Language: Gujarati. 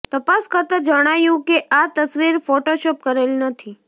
તપાસ કરતાં જણાયું કે આ તસવીર ફોટોશોપ કરેલી નથી